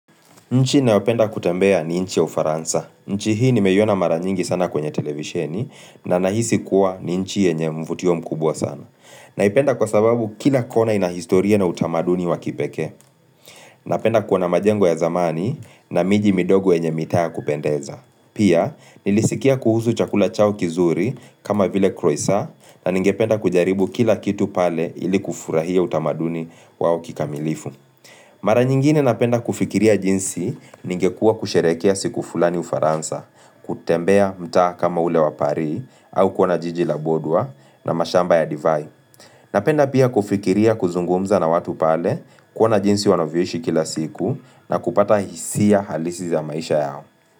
Nchi naopenda kutembea ni nchi ya ufaransa. Nchi hii nimeiona mara nyingi sana kwenye televisheni na nahisi kuwa ni nchi yenye mvutio mkubwa sana. Naipenda kwa sababu kila kona inahistoria na utamaduni wa kipekee. Napenda kuona majengo ya zamani na miji midogo yenye mitaa ya kupendeza. Pia, nilisikia kuhusu chakula chao kizuri kama vile croisant na ningependa kujaribu kila kitu pale ili kufurahia utamaduni wao kikamilifu. Mara nyingine napenda kufikiria jinsi ningekua kusherekea siku fulani ufaransa, kutembea mta kama ule wa paris au kuona jijila bordeaux na mashamba ya divai. Napenda pia kufikiria kuzungumza na watu pale kuona jinsi wanavyoishi kila siku na kupata hisia halisi za maisha yao.